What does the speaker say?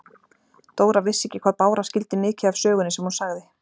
Dóra vissi ekki hvað Bára skildi mikið af sögunni sem hún sagði.